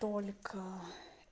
только